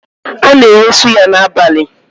A na-ere suya n'abalị.